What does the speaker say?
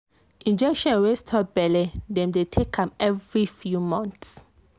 injection wey stop belle dem dey take am every few months.